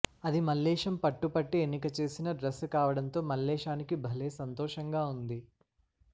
అది మల్లేశం పట్టుపట్టి ఎన్నిక చేసిన డ్రెస్సు కావడంతో మల్లేశానికి భలే సంతోషంగా వుంది